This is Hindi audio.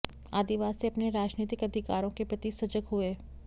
आदिवासी अपने राजनीतिक अधिकारों के प्रति सजग हुए